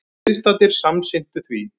Viðstaddir samsinntu því.